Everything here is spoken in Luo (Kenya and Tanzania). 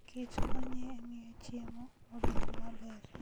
kich konyo e miyo chiemo obed maber.